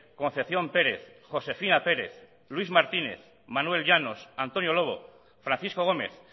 concepción pérez josefina pérez luis martínez manuel llanos antonio lobo francisco gómez